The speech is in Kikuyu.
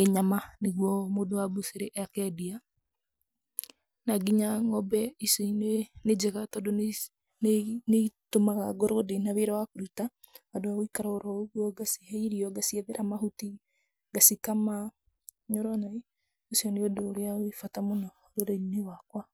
ĩ nyama nĩguo mũndũ wa mbucĩrĩ akeendia. Na nginya ng'ombe ici nĩ njega tondũ nĩ nĩ nĩ itũmaga ngorwo ndĩna wĩra wa kũruta, handũ ha gũikara oro ũguo, ngacihe irio, ngaciethera mahuti, ngacikama, nĩ ũrona i? Ũcio nĩ ũndũ ũrĩa wĩ bata mũno rũrĩrĩ-inĩ rwakwa.